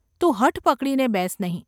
તું હઠ પકડીને બેસ નહિ.